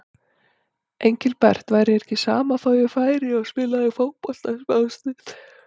Engilbert, væri þér ekki sama þó ég færi og spilaði fótbolta smástund.